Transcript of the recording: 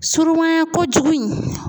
Surunmanya kojugu in